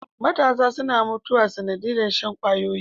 Matasa suna mutuwa sanadiyar Shan kwayoyi